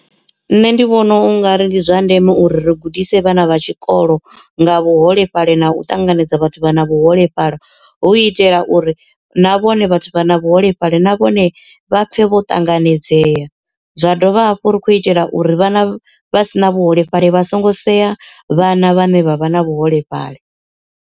Nṋe ndi vhona ungari ndi zwa ndeme uri ri gudisa vhana vha tshikolo nga vhuholefhali na u ṱanganedza vhathu vha na vhuholefhali, hu itela uri na vhone vhathu vha na vhu holefhali na vhone vha pfhe vho ṱanganedzea. Zwa dovha hafhu ri khou itela uri vhana vha si na vhuholefhali vha songo sea vhana vhane vha vha na vhuholefhali.